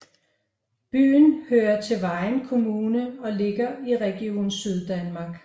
Byen hører til Vejen Kommune og ligger i Region Syddanmark